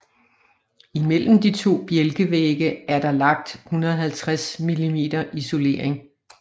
Imellem de to bjælkevægge er der lagt 150 mm isolering